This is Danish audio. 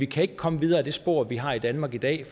kan komme videre ad det spor vi har i danmark dag